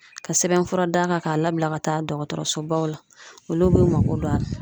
Ka sɛbɛn fura d'a kan ,ka labila ka taa dɔgɔtɔrɔsobaw la. Olu b'u mako don a la.